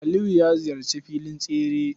Aliyu ya ziyarci filin tsere.